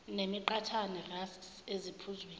nemiqhathane rusks eziphuzweni